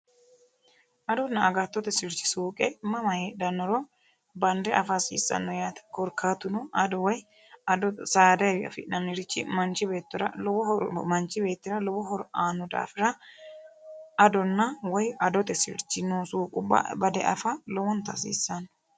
adonna agattote sirchi suuqe mama hedhannoro bande afa hasiissanno yaate korkaatuno ado woy ado saadaewi afidhannirichi manchi beettora lowo hor manchi beettira lowo horo aano daafira adonna woy adote sirchi nosuu qubba bade afa lowonta hasiissanno